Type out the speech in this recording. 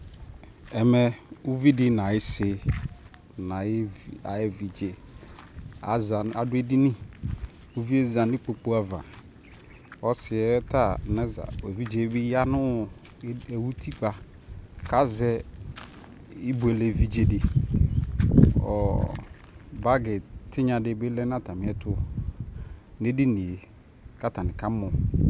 Ɛmɛ uvi di nʋ ayʋsi nʋ ayʋ ayʋevidzeaza nʋ adʋ edini kʋ uvi yɛ za nʋ ikpoku ava Ɔsi yɛ ta naza Evidze yɛ ya nʋ utikpa kʋ azɛ ibuele evidze di Ɔɔ bagi tinya di lɛ nʋ atami ɛtu nʋ edini yɛ kʋ atami kamɔ